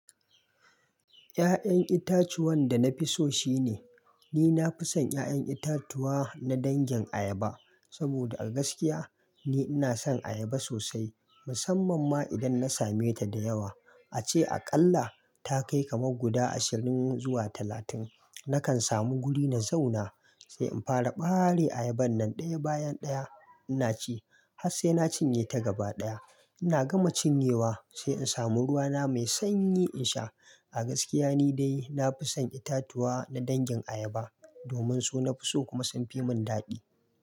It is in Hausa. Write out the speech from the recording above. Ya'yan itacuwan da na fi so shine, ni na fi son 'ya'yan itatuwa na dangin ayaba. Saboda a gaskiya ni ina son ayaba sosai musamman ma idan na same ta da yawa. Ace aƙalla ta kai kamar guda ashirin zuwa talatin. Nakan samu guri na zauna, sai in fara ɓare ayaban nan ɗaya bayan ɗaya ina ci har sai na cinye ta gaba ɗaya. Ina gama cinyewa sai in samu ruwa na mai sanyi in sha. A gaskiya ni dai na fi son itatuwa na dangin ayaba domin su na fi so kuma sun fi mun daɗi.